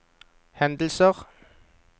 hendelser